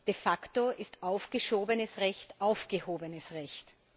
De facto ist aufgeschobenes Recht aufgehobenes Recht.